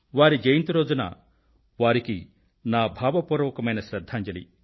వారి జయంతి రోజున వారికి నా భావపూర్వకమైన శ్రద్ధాంజలి